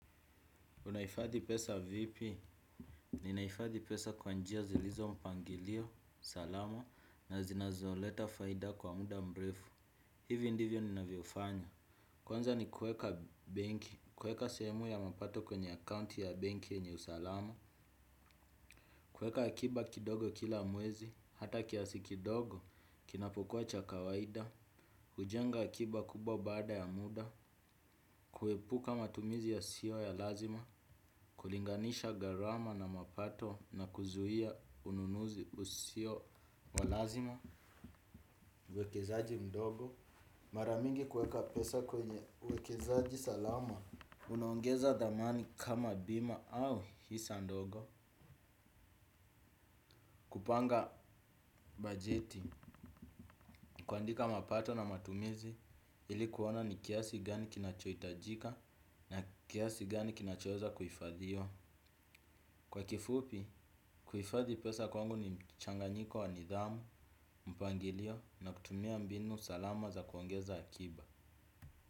Unaifadhi pesa vipi? Ninaifadhi pesa kwa njia zilizo mpangilio, salama na zinazoleta faida kwa muda mrefu. Hivi ndivyo ninavyofanya. Kwanza ni kueka banki, kueka sehemu ya mapato kwenye account ya banki yenye usalama. Kueka hakiba kidogo kila mwezi, hata kiasi kidogo kinapokuwa cha kawaida. Ujenga akiba kubwa baada ya muda. Kuepuka matumizi yasiyo ya lazima. Kulinganisha gharama na mapato na kuzuia ununuzi usio wa lazima. Wekezaji mdogo mara mingi kueka pesa kwenye wekezaji salama. Unaongeza dhamani kama bima au hisa ndogo. Kupanga bajeti kuandika mapato na matumizi ili kuona ni kiasi gani kinachoitajika na kiasi gani kinachoweza kuhifadhiwa. Kwa kifupi, kuifadhi pesa kwangu ni mchanganyiko wa nidhamu, mpangilio na kutumia mbinu salama za kuongeza hakiba.